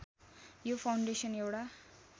यो फाउन्डेसन एउटा